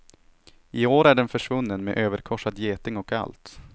I år är den försvunnen med överkorsad geting och allt.